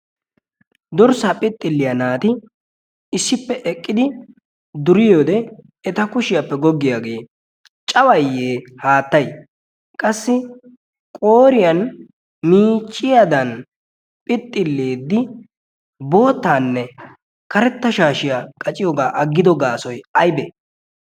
dorssaa phixxilliyaa naati issippe eqqidi durii ode eta kushiyaappe goggiyaagee cabayye haattay qassi qoriyan miicciyaadan phixxilieddi boottaanne karetta shaashiyaa qaciyoogaa aggido gaasoy aybee?